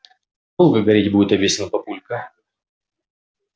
долго гореть будет объяснил папулька